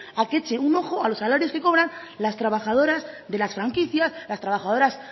a que hecho un ojo a los salarios que cobran las trabajadoras de las franquicias las trabajadoras